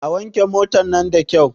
A wanke motan nan da kyau!